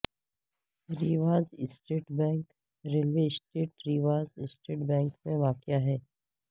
Riwaz East Bank railway station Riwaz East Bank میں واقع ہے